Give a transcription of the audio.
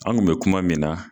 An kun bɛ kuma min na